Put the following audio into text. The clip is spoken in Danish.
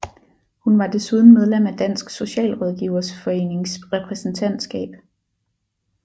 Hun var desuden medlem af Dansk Socialrådgiverforenings repræsentatskab